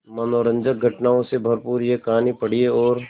मनोरंजक घटनाओं से भरपूर यह कहानी पढ़िए और